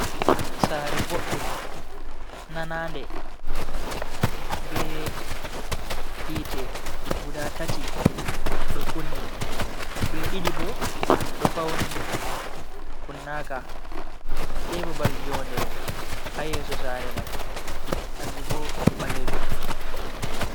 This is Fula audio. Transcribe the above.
Sare boɗɗum nanade be hiite guda tati ɗo kunni be ɗiɗii bo do fauni kunnaka, sei babal jonde hayeso sare mai kanju bo ɓalejum.